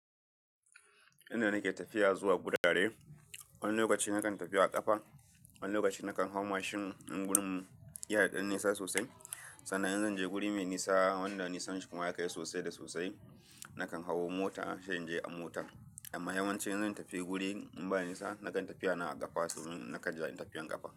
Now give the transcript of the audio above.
Inda nake tafiya zuwa guda dare, wani lokaci nakan tafi a ƙafa, wani lokaci nakan hau mashin in gurin yana dan nisa sosai. Sannan in zan je guri mai nisa wanda nisanshi kuma ya kai sosai da sosai, nakan hawo mota, sai in je a mota. Amma yawanci in zan tafi guri ini ba nisa, nakan tafiya na a ƙafa domin naka ji tafiyar ƙafa.